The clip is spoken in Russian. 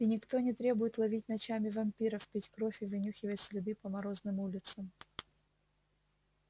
и никто не требует ловить ночами вампиров пить кровь и вынюхивать следы по морозным улицам